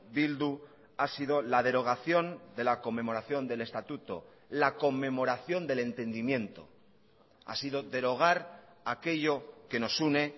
bildu ha sido la derogación de la conmemoración del estatuto la conmemoración del entendimiento ha sido derogar aquello que nos une